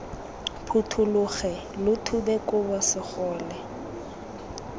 phuthologe lo thube kobo segole